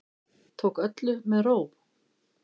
Tók öllu með ró